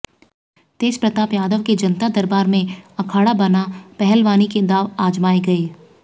तेज प्रताप यादव के जनता दरबार में अखाड़ा बना पहलवानी के दांव आजमाए गए